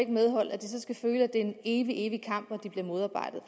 medhold at det er en evig evig kamp og at de bliver modarbejdet